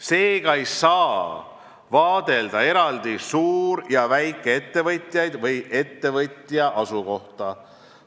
Seega ei saa eraldi vaadelda suur- ja väikeettevõtjaid või ettevõtja asukohta.